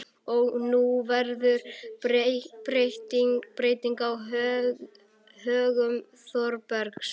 Og nú verður breyting á högum Þórbergs.